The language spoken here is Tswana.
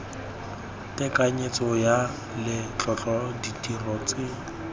tekanyetso ya letlotlo ditiro tse